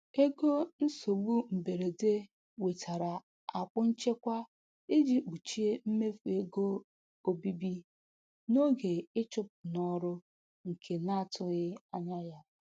Ego nsogbu mberede wetara akwụ nchekwa iji kpuchie mmefu ego obibi n'oge ịchụpụ n'ọrụ nke na-atụghị anya ya.